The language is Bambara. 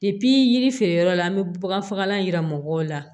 yiri feere yɔrɔ la an bɛ bagan faga yira mɔgɔw la